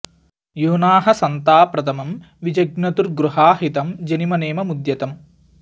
यूना ह सन्ता प्रथमं वि जज्ञतुर्गुहा हितं जनिम नेममुद्यतम्